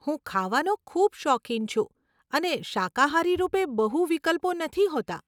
હું ખાવાનો ખૂબ શોખીન છું અને શાકાહારી રૂપે બહુ વિકલ્પો નથી હોતા.